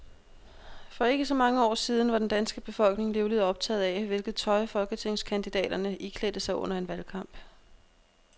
For ikke så mange år siden var den danske befolkning livligt optaget af, hvilket tøj folketingskandidaterne iklædte sig under en valgkamp.